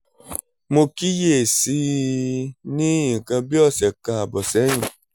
mo kíyè sí i ní nǹkan bí ọ̀sẹ̀ kan ààbọ̀ sẹ́yìn